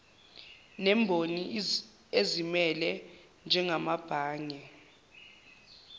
nemboni ezimele njengamabhange